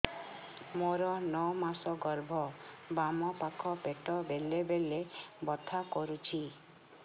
ମୋର ନଅ ମାସ ଗର୍ଭ ବାମ ପାଖ ପେଟ ବେଳେ ବେଳେ ବଥା କରୁଛି